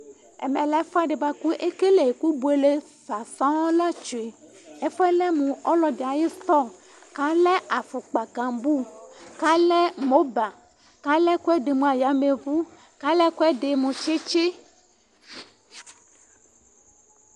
Ɛmɛ lɛ ɛfuɛɖi buaku ekele ɛfu buelefa sɔŋ la tsue Ɛfuyɛ lɛ mu ɔlɔɖi ayu itɔ Ku ale afukpa kambu Ku ale mobal Ku alɛ ɛkuɛɖi mu ayameʋu Ku alɛ ɛkuɛɖi mu tsitsi